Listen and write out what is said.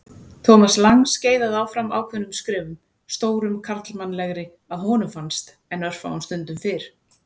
Thomas Lang skeiðaði áfram ákveðnum skrefum, stórum karlmannlegri að honum fannst en örfáum stundum fyrr.